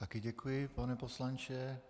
Také děkuji, pane poslanče.